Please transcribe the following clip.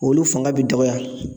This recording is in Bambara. Olu fanga be dɔgɔya.